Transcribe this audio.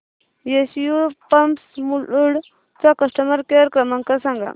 SU pumps Mulund चा customer care क्रमांक सांगा